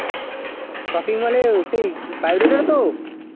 shopping mall এ সেই bio data টা তো